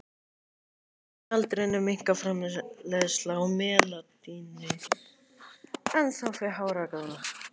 Með aldrinum minnkar framleiðsla á melaníni en þá fer hár að grána.